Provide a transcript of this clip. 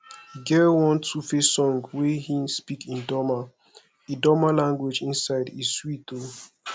e get one 2face song wey he speak idoma idoma language inside e sweat o